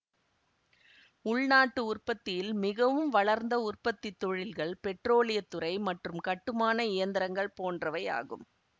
உள்நாட்டு உற்பத்தியில் மிகவும் வளர்ந்த உற்பத்தி தொழில்கள் பெட்ரோலிய துறை மற்றும் கட்டுமான இயந்திரங்கள் போன்றவை ஆகும்